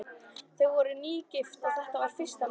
Þau voru nýgift og þetta var fyrsta nóttin.